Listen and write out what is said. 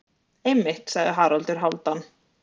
Einmitt, sagði Haraldur Hálfdán.